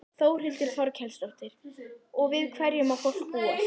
Þórhildur Þorkelsdóttir: Og við hverju má fólk búast?